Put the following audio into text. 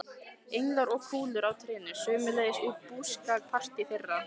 Englar og kúlur á trénu, sömuleiðis úr búskapartíð þeirra.